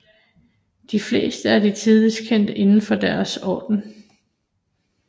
De fleste er de tidligst kendte inden for deres orden